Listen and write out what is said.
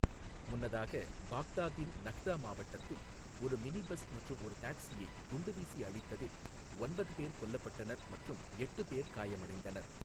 முன்னதாக பாக்தாத்தின் நஹ்தா மாவட்டத்தில் ஒரு மினிபஸ் மற்றும் ஒரு டாக்ஸியை குண்டுவீசி அழித்ததில் ஒன்பது பேர் கொல்லப்பட்டனர் மற்றும் எட்டு பேர் காயமடைந்தனர்.